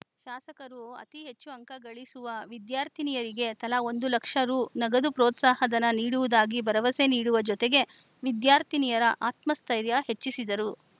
ಶಾಸಕರು ಅತಿ ಹೆಚ್ಚು ಅಂಕ ಗಳಿಸುವ ವಿದ್ಯಾರ್ಥಿನಿಯರಿಗೆ ತಲಾ ಒಂದು ಲಕ್ಷ ರು ನಗದು ಪ್ರೋತ್ಸಾಹ ಧನ ನೀಡುವುದಾಗಿ ಭರವಸೆ ನೀಡುವ ಜೊತೆಗೆ ವಿದ್ಯಾರ್ಥಿನಿಯರ ಆತ್ಮಸ್ಥೆತ್ರೖರ್ಯ ಹೆಚ್ಚಿಸಿದರು